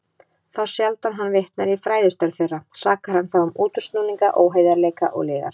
Þá sjaldan hann vitnar í fræðistörf þeirra, sakar hann þá um útúrsnúninga, óheiðarleika og lygar.